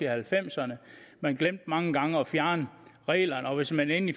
halvfemserne man glemte mange gange at fjerne reglerne og hvis man endelig